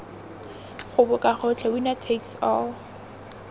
goboka gotlhe winner takes all